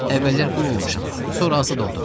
Əvvəllər qul olmuşam, sonra azad oldum.